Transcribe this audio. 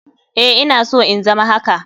Eh ina so in zama haka.